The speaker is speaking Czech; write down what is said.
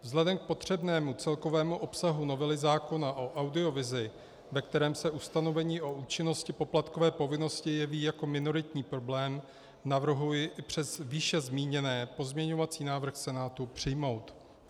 Vzhledem k potřebnému celkovému obsahu novely zákona o audiovizi, ve kterém se ustanovení o účinnosti poplatkové povinnosti jeví jako minoritní problém, navrhuji i přes výše zmíněné pozměňovací návrh Senátu přijmout.